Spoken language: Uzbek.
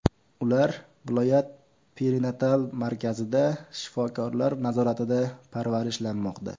Ular viloyat perinatal markazida shifokorlar nazoratida parvarishlanmoqda.